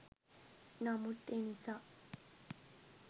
නමුත් එනිසා